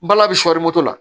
Bala bi sɔɔri moto la